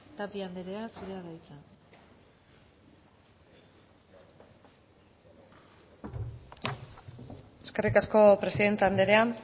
tapia andrea zurea da hitza eskerrik asko presidente andrea